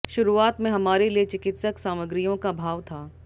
शुरुआत में हमारे लिए चिकित्सक सामग्रियों का अभाव था